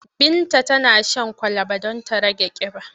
Binta tana shan kwalaba don ta rage ƙiba.